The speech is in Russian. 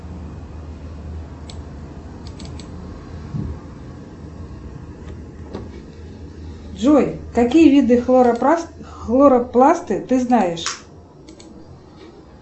джой какие виды хлоропласты ты знаешь